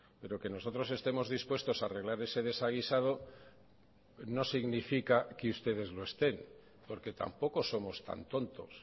pero que nosotros estemos dispuestos a arreglar ese desaguisado no significa que ustedes lo estén porque tampoco somos tan tontos